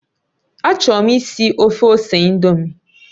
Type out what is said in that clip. Achọrọ m ìsì ofe ose ị̀ndómị́